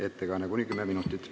Ettekanne kestab kuni 10 minutit.